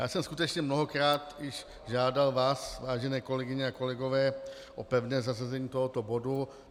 Já jsem skutečně mnohokrát již žádal vás, vážené kolegyně a kolegové, o pevné zařazení tohoto bodu.